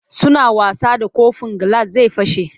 Suna wasa da kofin gilas zai fashe.